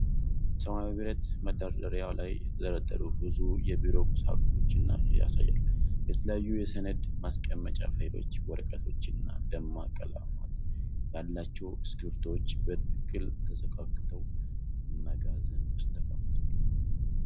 በሰማያዊ ብረት መደርደሪያ ላይ የተደረደሩ ብዙ የቢሮ ቁሳቁሶችን ያሳያል። የተለያዩ የሰነድ ማስቀመጫ ፋይሎች፣ ወረቀቶችና ደማቅ ቀለማት ያላቸው እስክሪብቶዎች በትክክል ተሰካክተው መጋዘን ውስጥ ተቀምጠዋል።